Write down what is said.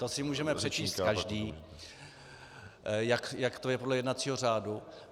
To si můžeme přečíst každý, jak to je podle jednacího řádu.